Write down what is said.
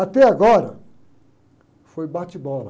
Até agora foi bate-bola.